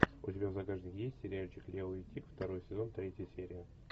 у тебя в загашнике есть сериальчик лео и тиг второй сезон третья серия